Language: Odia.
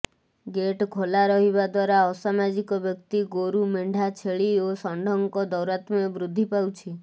ଗେଟ୍ ଖୋଲା ରହିବା ଦ୍ବାରା ଅସାମାଜିକ ବ୍ୟକ୍ତି ଗୋରୁ ମେଣ୍ଢା ଛେଳି ଓ ଷଣ୍ଢଙ୍କ ଦୌରାତ୍ମ୍ୟ ବୃଦ୍ଧି ପାଉଛି